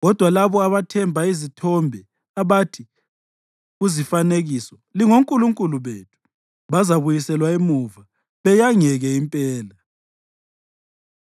Kodwa labo abathemba izithombe, abathi kuzifanekiso, ‘Lingonkulunkulu bethu,’ bazabuyiselwa emuva beyangeke impela.”